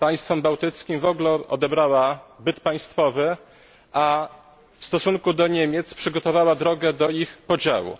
Państwom bałtyckim odebrała byt państwowy, a w stosunku do Niemiec przygotowała drogę do ich podziału.